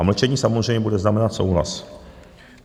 A mlčení samozřejmě bude znamenat souhlas.